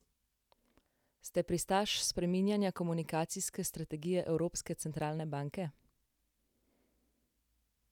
Ste pristaš spreminjanja komunikacijske strategije Evropske centralne banke?